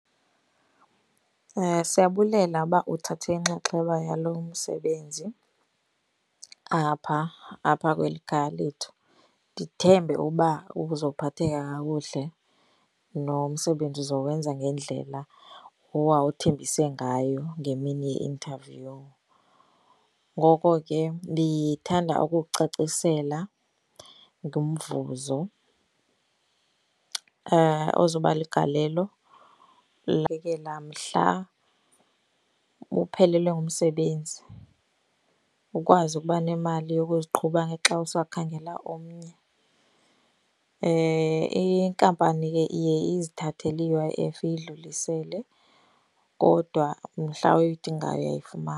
Siyabulela uba uthathe inxaxheba yalo msebenzi apha apha kweli khaya lethu. Ndithembe uba uzophatheka kakuhle nomsebenzi uzowenza ngendlela owawuthembise ngayo ngemini ye-interview. Ngoko ke ndithanda ukukucacisela ngomvuzo ozobaligalelo la mhla uphelelwe ngumsebenzi, ukwazi ukuba nemali yokuziqhuba ngexa usakhangela omnye. Inkampani ke iye izithathele i-U_I_F iyidlulisele, kodwa mhla uyidingayo .